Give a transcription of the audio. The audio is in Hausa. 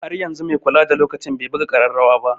Har yanzu mai kula da lokaci bai buga ƙararrawa ba.